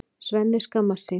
Svenni skammast sín.